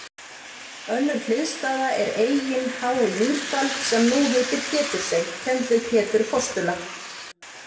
Önnur hliðstæða er Eyin há í Mýrdal, sem nú heitir Pétursey, kennd við Pétur postula.